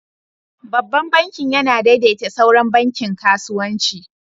Babban bankin yana daidaita sauran bankin kasuwanci.